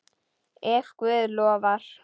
Ef Guð lofar.